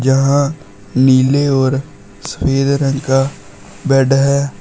यहां नीले और सफेद रंग का बेड है।